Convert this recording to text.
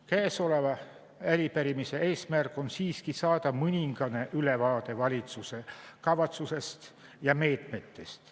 Käesoleva arupärimise eesmärk on siiski saada mõningane ülevaade valitsuse kavatsusest ja meetmetest.